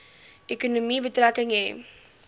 ekonomie betrekking hê